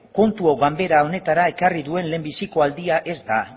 kontu hau ganbera honetara ekarri duen lehenbiziko aldia ez da